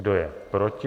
Kdo je proti?